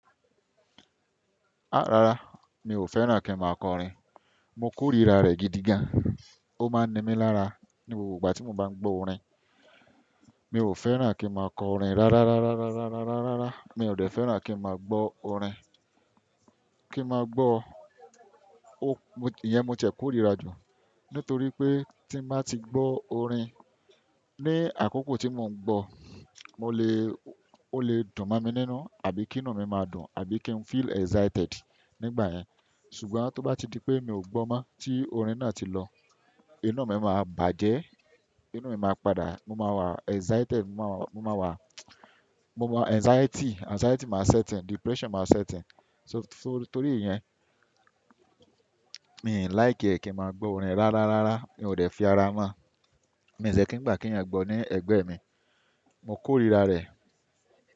Ah! Rárá, mi ò fẹ́ràn kí n máa kọ orin. Mo k'órira rẹ̀ gidigan. Ó máa ń ni mí lára ní gbogbo ìgbà tí mo bá ń gbọ́ orin. Mi ò fẹ́ràn kí n máa kọ orin rárá, rárá, rárá, rárá, rárá, rárá. Mi ò dè fẹ́ràn kí n máa gbọ́ orin. Kí n máa gbọ́ o-- ìyẹn mo tiẹ̀ koríra jù nítorí pé tí mo bá ti gbọ́ orin, ní àkókò tí mò ń gbọ́, mo le, ó le dùn mọ́ mi nínú àbí kí inú mi máa dùn, àbí kí n feel excited nígbà yẹn. Ṣùgbọ́n tó bá di pé mi ò gbọ́ mọ́ tí orin náà ti lọ, inú mi máa bàjẹ́, inú mi máa padà, mo máa wà excited, mo máa wà, mo máa wà anxiety, anxiety máa set in, depression máa set in. So, so torí ìyẹn, mi ò like ẹ kí n máa gbọ́ orin rárá, rárá. Mi ò dè fi ara mọ́. Mi ò dẹ̀ kí ń gbà kí ẹ̀yin gbọ́ ní ẹ̀gbẹ́ mi. Mo k'órira rẹ̀.